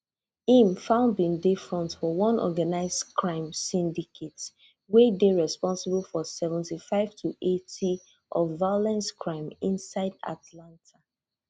im found bin dey front for one organised crime syndicate wey dey responsible for seventy-five to eighty of violent crime inside atlanta